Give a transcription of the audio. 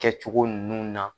Kɛ cogo nun na.